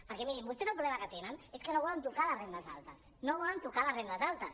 perquè mi·rin vostès el problema que tenen és que no volen tocar les rendes altes no volen to·car les rendes altes